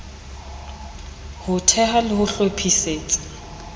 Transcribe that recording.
ho thea le ho hlophisetsa